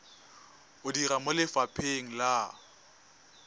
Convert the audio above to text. o dira mo lefapheng la